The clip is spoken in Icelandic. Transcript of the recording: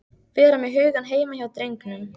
Vera með hugann heima hjá drengnum.